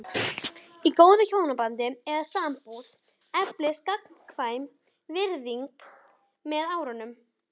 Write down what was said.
Í góðu hjónabandi eða sambúð eflist gagnkvæm virðing með árunum.